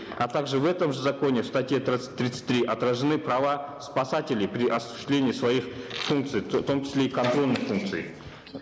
а также в этом же законе в статье тридцать три отражены права спасателей при осуществлении своих функций в том числе и контрольных функций